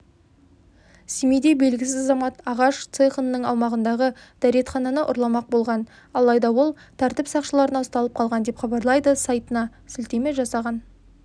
семейде белгісіз азамат ағаш цехының аумағындағы дәретхананы ұрламақ болған алайда ол тәртіп сақшыларына ұсталып қалған деп хабарлайды сайтына сілтеме жасаған